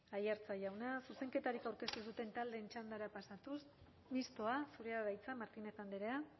aiartza jauna zuzenketarik aurkeztu ez duten taldeen txandara pasatuz mistoa zurea da hitza martínez andrea